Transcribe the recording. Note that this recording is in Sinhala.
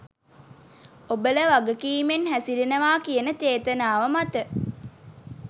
ඔබල වගකීමෙන් හැසිරෙනවා කියන චේතනාව මත.